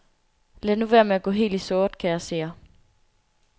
Lad nu være med at gå helt i sort, kære seere.